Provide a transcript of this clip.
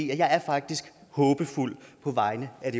jeg er faktisk håbefuld på vegne af